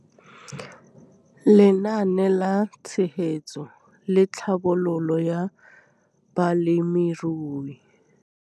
Lenaane la Tshegetso le Tlhabololo ya Balemirui.